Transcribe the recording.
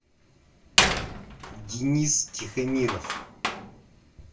денис тихомиров